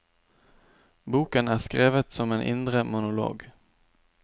Boken er skrevet som en indre monolog.